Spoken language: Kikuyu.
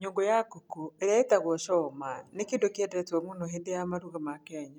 Nyũngũ ya ngũkũ, ĩrĩa ĩĩtagwo choma, nĩ kĩndũ kĩendetwo mũno hĩndĩ ya maruga ma Kenya.